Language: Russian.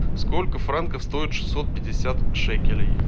сколько франков стоит шестьсот пятьдесят шекелей